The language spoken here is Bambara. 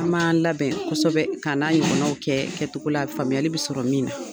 An' b'aan labɛn kosɛbɛ, k'a na ɲɔgɔnnaw kɛ kɛtogo la faamuyali be sɔrɔ min na.